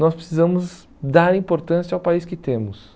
Nós precisamos dar importância ao país que temos.